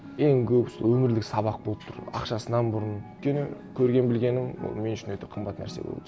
ең көп сол өмірлік сабақ болып тұр ақшасынан бұрын өйткені көрген білгенім ол мен үшін өте қымбат нәрсе болды